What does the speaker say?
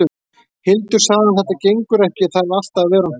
Hildur, sagði hann, þetta gengur ekki ef ég þarf alltaf að vera á hnjánum.